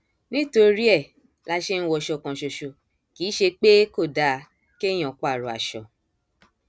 nítorí ẹ la ṣe ń wọṣọ kan ṣoṣo kì í ṣe pé kò dáa kéèyàn pààrọ aṣọ